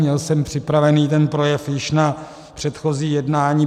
Měl jsem připravený ten projev již na předchozí jednání.